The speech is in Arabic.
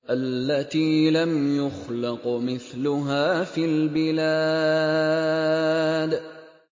الَّتِي لَمْ يُخْلَقْ مِثْلُهَا فِي الْبِلَادِ